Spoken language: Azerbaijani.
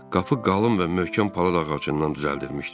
Qapı qalın və möhkəm palıd ağacından düzəldilmişdi.